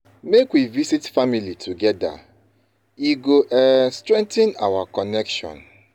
Make we visit family together; e go um strengthen our connection.